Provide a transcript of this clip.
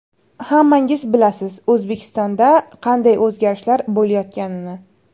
Hammangiz bilasiz, O‘zbekistonda qanday o‘zgarishlar bo‘layotganini.